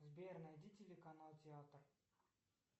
сбер найди телеканал театр